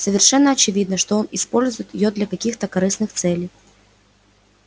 совершенно очевидно что он использует её для каких-то корыстных целей